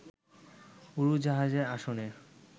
উড়োজাহাজের আসনের